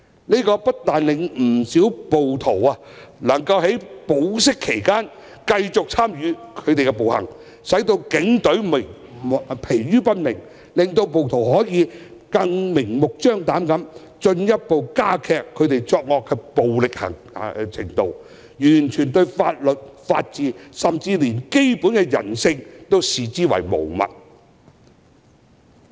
這不但令不少暴徒能夠在保釋期間繼續參與暴行，使警隊疲於奔命；更令他們可以明目張膽地進一步加劇作惡的暴力程度，完全將法律、法治，甚至連基本的人性均視之為無物。